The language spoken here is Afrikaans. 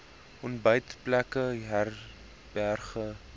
ontbytplekke herberge lodges